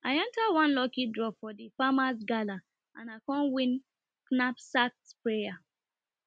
i enter one lucky draw for di farmers gala and i con win knapsack sprayer